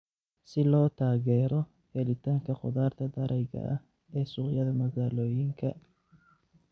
Si loo taageero helitaanka khudaarta darayga ah ee suuqyada magaalooyinka.